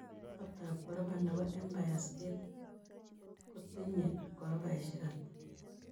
Kotap koropa ne po empire state bu kotinye koropaisiek ata